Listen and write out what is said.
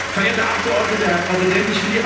Verehrte Abgeordnete, Herr Präsident!